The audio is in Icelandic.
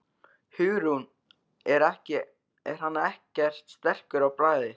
Hugrún: Er hann ekkert sterkur á bragðið?